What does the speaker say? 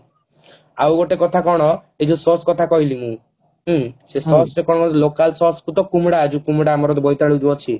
ଆଉ ଗୋଟେ କଥା କଣ ଏଇ ଯୋଉ Sause କଥା କହିଲି ମୁଁ ସେ Sause ରେ କଣ local କୁ ତ କୁମୁଡା ଅଛି କୁମୁଡା ଆମର ବୋଇତାଳୁ ଯୋଉ ଅଛି